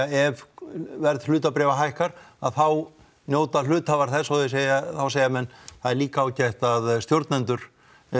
ef verð hlutabréfa hækkar að þá njóta hluthafar þess og þeir segja þá segja menn það er líka ágætt að stjórnendur